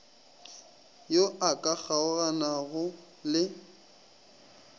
yo a ka kgaoganago le